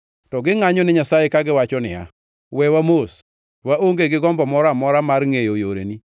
To gingʼanyone Nyasaye kagiwacho niya, ‘Wewa mos!’ Waonge gi gombo moro amora mar ngʼeyo yoreni.